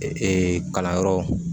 Ee kalanyɔrɔ